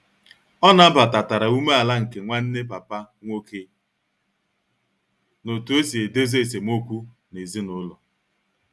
O nabatatara umeala nke Nwanne papa nwoke n'otu osi edezo esem okwu n'ezinulo